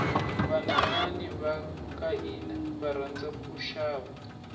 vanhwanyani vakahhina varhandza kushava